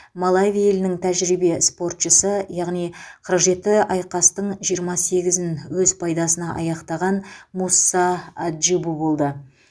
малави елінің тәжірибе спортшысы яғни қырық жеті айқастың жиырма сегізін өз пайдасына аяқтаған мусса аджибу болды